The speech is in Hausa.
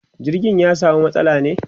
jirgin ya samu matsala ne